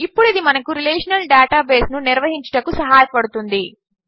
ఇప్పుడు ఇది మనకు రిలేషనల్ డేటాబేస్ ను నిర్వహించుటకు సహాయపడుతుంది